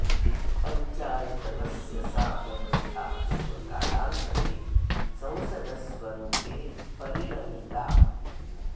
पञ्चायतनस्य सा व्यवस्था एव कालान्तरे संसदः स्वरूपे परिणमिता